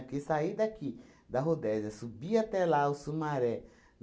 Porque saí daqui, da Rodésia, subia até lá, o Sumaré.